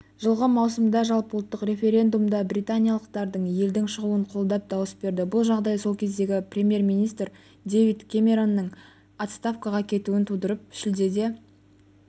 жылғы маусымда жалпыұлттық референдумда британиялықтардың елдің шығуын қолдап дауыс берді бұл жағдай сол кездегі премьер-министр дэвид кэмеронның отставкаға кетуін тудырып шілдеде